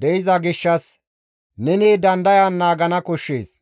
de7iza gishshas, neni dandayan naagana koshshees.